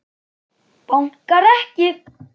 Bankar ekki.